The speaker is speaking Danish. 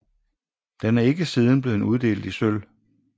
Den er ikke siden blevet uddelt i sølv